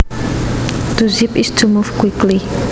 To zip is to move quickly